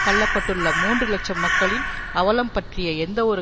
தள்ள பட்டுள்ள மூன்று இலட்சம் மக்களின் அவலம் பற்றிய எந்தவொரு